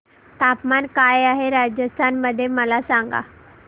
तापमान काय आहे राजस्थान मध्ये मला सांगा